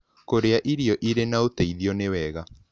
Kũrĩa irio ĩrĩ na ũteĩthĩo nĩwega